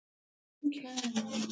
Bjartey, hvenær kemur þristurinn?